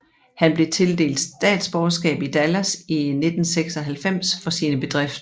Han blev tildelt statsborgerskab i Dallas i 1996 for sine bedrifter